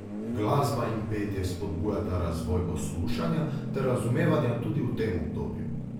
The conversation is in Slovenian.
Glasba in petje spodbujata razvoj poslušanja ter razumevanja tudi v tem obdobju.